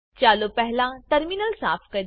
ચાલો પહેલા ટર્મિનલ સાફ કરીએ